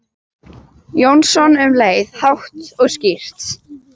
Jónsson um leið, hátt og skýrt.